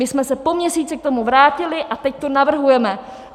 My jsme se po měsíci k tomu vrátili a teď to navrhujeme.